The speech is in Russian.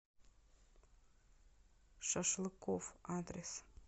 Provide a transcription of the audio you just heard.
шашлыкоф адрес